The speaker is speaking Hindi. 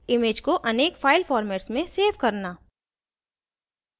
image को अनेक file formats में सेव करना